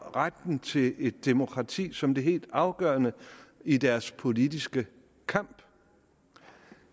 retten til et demokrati som det helt afgørende i deres politiske kamp